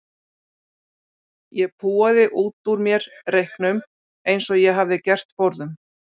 Ég púaði út úr mér reyknum eins og ég hafði gert forðum.